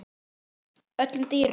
öllum dýrum